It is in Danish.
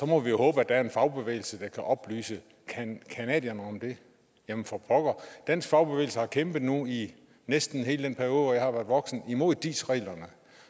må vi håbe at der er en fagbevægelse der kan oplyse canadierne om dem jamen for pokker dansk fagbevægelse har kæmpet nu i næsten hele den periode hvor jeg har været voksen imod dis reglerne